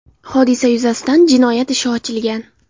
Hodisa yuzasidan jinoyat ishi ochilgan.